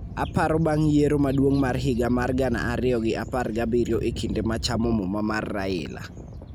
Aparo bang' yiero maduong' mar higa mar gana ariyo gi apar gabiriyo e kinde ma chamo muma mar Raila